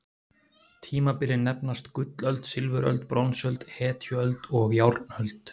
Tímabilin nefnast: gullöld, silfuröld, bronsöld, hetjuöld og járnöld.